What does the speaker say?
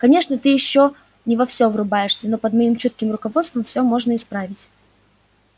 конечно ты ещё не во всё врубаешься но под моим чутким руководством всё можно исправить